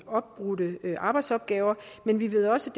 opbrudte arbejdsopgaver men vi ved også